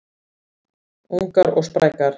Ungar og sprækar